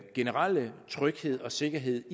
generelle tryghed og sikkerhed